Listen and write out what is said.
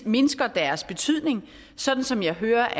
mindsker deres betydning sådan som jeg hører